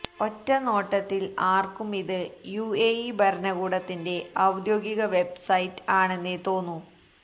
ഒറ്റ നോട്ടത്തിൽ ആർക്കും ഇത് യുഎഇ ഭരണകൂടത്തിന്റെ ഔദ്യോഗിക വെബ്സൈറ്റ് ആണെന്നെ തോന്നു